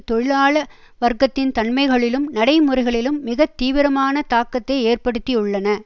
தொழிலாள வர்க்கத்தின் தன்மைகளிலும் நடைமுறைகளிலும் மிக தீவிரமான தாக்கத்தை ஏற்படுத்தியுள்ளன